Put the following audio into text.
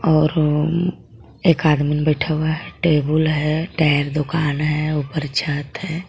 और अं एक आदमीन बैठा हुआ है टेबुल है टायर दुकान है ऊपर छत है.